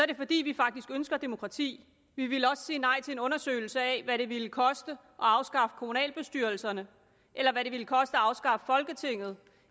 det fordi vi faktisk ønsker demokrati vi ville også sige nej til en undersøgelse af hvad det ville koste at afskaffe kommunalbestyrelserne eller hvad det ville koste at afskaffe folketinget